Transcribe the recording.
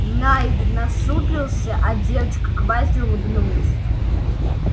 найд насупился а девочка-квази улыбнулась